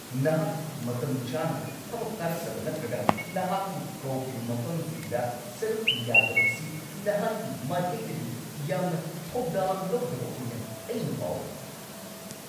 ꯅꯍꯥꯛ ꯃꯇꯝꯆꯥꯅ ꯊꯕꯛ ꯀꯥꯔꯛꯇꯕ ꯅꯠꯇ꯭ꯔꯒ ꯅꯍꯥꯛꯄꯨ ꯀꯧꯈꯤꯕ ꯃꯐꯝꯁꯤꯡꯗ ꯁꯔꯨꯛ ꯌꯥꯗꯕ ꯑꯁꯤ ꯅꯍꯥꯛꯀꯤ ꯃꯥꯏꯀꯩꯗꯒꯤ ꯌꯥꯝꯅ ꯊꯧꯗꯥꯡ ꯂꯧꯗꯕ ꯑꯣꯏꯅ ꯑꯩꯅ ꯐꯥꯎꯏ ꯫